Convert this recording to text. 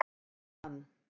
Hún eignaðist hann.